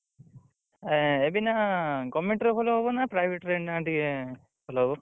ଆ ଏବେ ନା government ରେ ଭଲ ହବ ନା private ଏଇନା ଟିକେ ଭଲ ହବ?